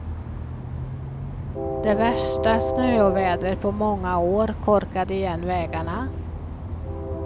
Det värsta snöovädret på många år korkade igen vägarna.